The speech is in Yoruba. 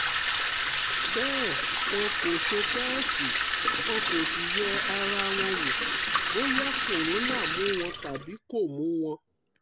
bẹ́ẹ̀ wọn kò ṣe tẹ́ẹ̀sì wọn kò sì yẹ ara wọn wò bóyá corona mú wọn tàbí kò mú wọn